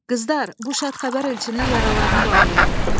Qızlar, bu şad xəbər elçinin yaralarını bağlayın.